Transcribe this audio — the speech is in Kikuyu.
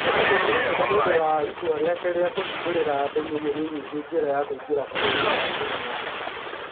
No kũhoteke nĩ ũndũ wa itua rĩake rĩa kũhingũrĩra andũ milioni nyingĩ njĩra ya kũingĩra bũrũri-inĩ wa Njĩrĩmani.